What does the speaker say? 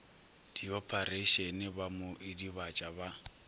diophareišene ba mo idibatša ba